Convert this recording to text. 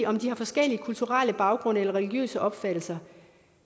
om de har forskellige kulturelle baggrunde eller religiøse opfattelser